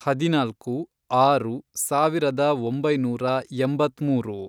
ಹದಿನಾಲ್ಕು, ಆರು, ಸಾವಿರದ ಒಂಬೈನೂರ ಎಂಬತ್ಮೂರು